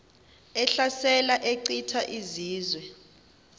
ehlasela echitha izizwe